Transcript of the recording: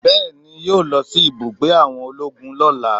Bẹẹni, yo lọ sí ibùgbé àwọn ológun lọ́lá